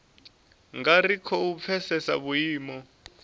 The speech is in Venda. nga ri khou pfesesa vhuimo